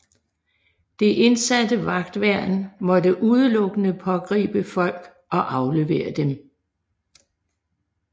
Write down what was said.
Det indsatte vagtværn måtte udelukkende pågribe folk og aflevere dem